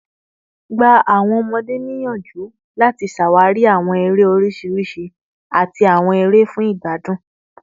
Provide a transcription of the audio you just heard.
Gba awọn ọmọde niyanju lati ṣawari awọn ere oriṣiriṣi ati awọn ere fun igbadun